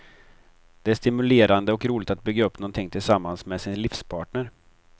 Det är stimulerande och roligt att bygga upp någonting tillsammans med sin livspartner.